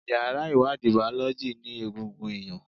Yàrá ìwádìí Bàọ́lọ́jì ní egungun ẹ̀yàn.